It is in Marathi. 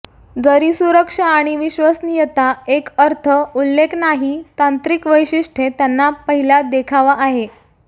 जरी सुरक्षा आणि विश्वसनीयता एक अर्थ उल्लेख नाही तांत्रिक वैशिष्ट्ये त्यांना पहिल्या देखावा आहे